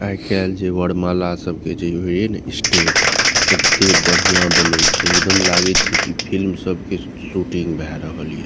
आय काएल जे वरमाला सबके जे होय ना स्टेज एत्ते बढ़िया बने छै एकदम लागे छै की फिल्म सब के शूटिंग भए रहल ये।